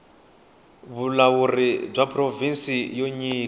vulawuri bya provhinsi byo nyika